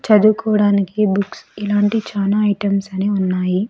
చదువుకోవడానికి బుక్స్ ఇలాంటి చానా ఐటమ్స్ అనేవి ఉన్నాయి.